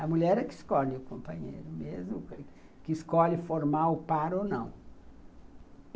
A mulher é que escolhe o companheiro mesmo, que escolhe formar o par ou não.